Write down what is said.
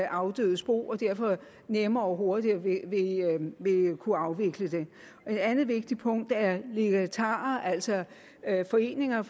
afdødes bo og derfor nemmere og hurtigere vil kunne afvikle det et andet vigtigt punkt er legatarer altså at foreninger